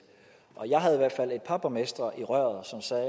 par borgmestre i røret som sagde at